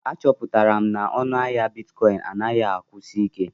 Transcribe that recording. Achọpụtara m na ọnụ ahịa Bitikoin anaghị akwụsi ike.